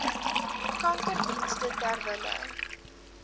kankerdienste ter wille